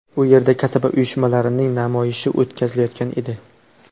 U yerda kasaba uyushmalarining namoyishi o‘tkazilayotgan edi.